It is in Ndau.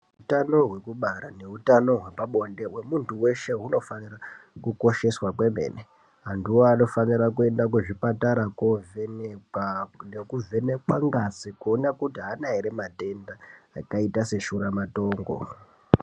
Utano hwekubara neutano hwepabonde hwemuntu weshe hunofanira kukosheswa kwemene. Antuwo anofanira kuenda kuzvipatara koovhenekwa nekuvhenekwa ngazi kuona kuti haana ere matenda akaita seshuramatongo.